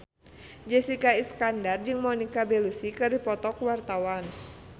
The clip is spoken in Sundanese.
Jessica Iskandar jeung Monica Belluci keur dipoto ku wartawan